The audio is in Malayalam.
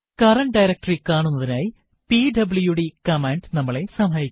കറന്റ് ഡയറക്ടറി കാണുന്നതിനായി പിഡബ്ല്യുഡി കമാൻഡ് നമ്മളെ സഹായിക്കും